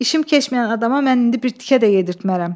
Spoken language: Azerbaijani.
İşim keçməyən adama mən indi bir tikə də yedirtmərəm.